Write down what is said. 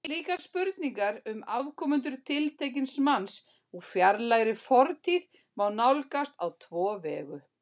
Slíkar spurningar um afkomendur tiltekins manns úr fjarlægri fortíð má nálgast á tvo vegu.